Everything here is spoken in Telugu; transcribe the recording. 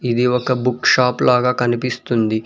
ఇది ఒక బుక్ షాప్ లాగా కనిపిస్తుంది.